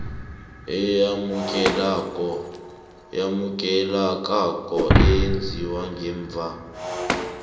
eyamukelekako eyenziwe ngemva